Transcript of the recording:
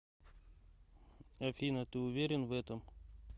афина ты уверен в этом